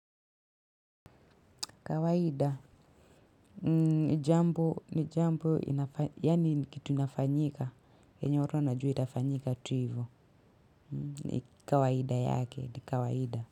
Kawaida, ni jambo, ni jambo, yani kitu inafanyika, yenye watu wanajua itafanyika tu ivo, ni kawaida yake, ni kawaida.